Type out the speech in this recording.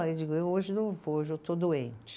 Eu digo, eu hoje não vou, hoje eu estou doente.